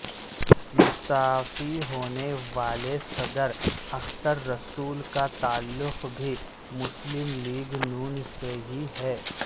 مستعفی ہونے والے صدر اختر رسول کا تعلق بھی مسلم لیگ نون سے ہی ہے